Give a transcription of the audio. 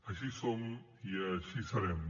així som i així serem